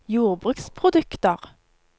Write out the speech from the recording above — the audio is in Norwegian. jordbruksprodukter